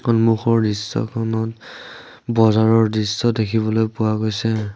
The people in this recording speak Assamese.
সন্মুখৰ দৃশ্যখনত বজাৰৰ দৃশ্য দেখিবলৈ পোৱা গৈছে।